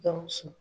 Gawusu